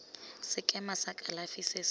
sekema sa kalafi se se